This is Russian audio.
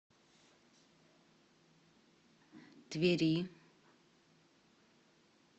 твери